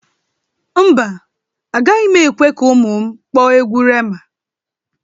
Mba, agaghị m ekwe ka ụmụ m kpọọ egwu Rema.